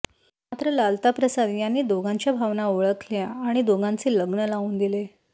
मात्र लालता प्रसाद यांनी दोघांच्या भावना ओळखल्या आणि दोघांचे लग्न लावून दिले